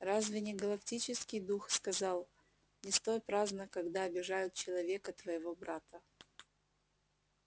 разве не галактический дух сказал не стой праздно когда обижают человека твоего брата